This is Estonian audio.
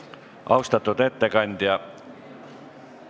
Austatud ettekandja!